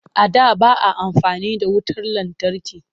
A da ba a amfani da wutar lantarki